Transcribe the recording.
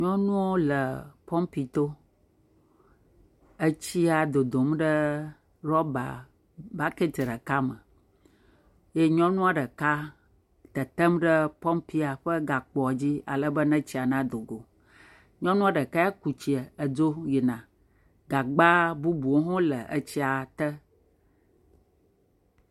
Nyɔnuwo le pɔmpito. Etsia dodom ɖe ɖɔbabaketi ɖeka me eye nyɔnua ɖeka tetem ɖe pɔmpia ƒe gakpoa dzi ale be ne tsia nado go. Nyɔnua ɖeka ya kutsia ale be edzo yina. Gagba bubuwo hã le etsia te.